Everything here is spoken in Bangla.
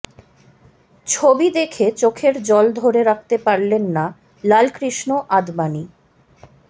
ছবি দেখে চোখের জল ধরে রাখতে পারলেন না লালকৃষ্ণ আদবানী